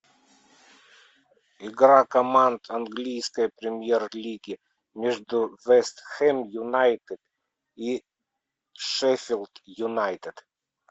игра команд английской премьер лиги между вест хэм юнайтед и шеффилд юнайтед